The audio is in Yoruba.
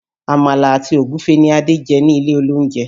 Àmàlà àti Ògúfe ní Adé jẹ ilé olóúnjẹ